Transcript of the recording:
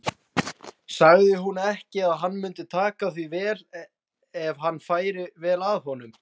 Sagði hún ekki að hann mundi taka því vel ef hann færi vel að honum?